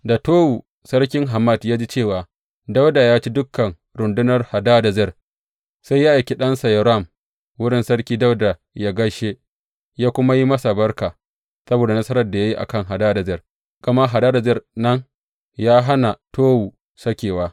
Da Towu sarkin Hamat ya ji cewa Dawuda ya ci dukan rundunar Hadadezer, sai ya aiki ɗansa Yoram wurin Sarki Dawuda yă gaishe, yă kuma yi masa barka saboda nasarar da ya yi a kan Hadadezer, gama Hadadezer nan ya hana Towu sakewa.